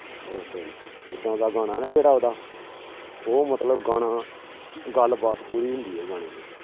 ਉਹ sorry ਏਦਾਂ ਦਾ ਗਾਣਾ ਨਾ ਜਿਹੜਾ ਉਹਦਾ, ਉਹ ਮਤਲਬ ਗਾਣਾ ਗੱਲਬਾਤ ਪੂਰੀ ਹੁੰਦੀ ਹੈ ਗਾਣੇ ਚ।